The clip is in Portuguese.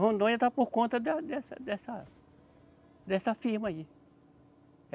Rondônia está por conta da dessa, dessa, dessa firma aí.